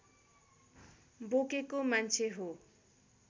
बोकेको मान्छे हो